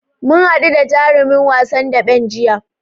Mu haɗu da jarumin wasan daɓen jiya.